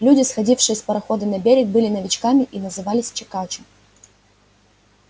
люди сходившие с парохода на берег были новичками и назывались чекачо